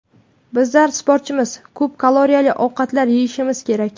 Bizlar sportchimiz, ko‘p kaloriyali ovqatlar yeyishimiz kerak.